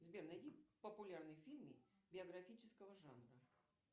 сбер найди популярные фильмы биографического жанра